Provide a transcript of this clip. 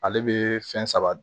Ale bɛ fɛn saba dun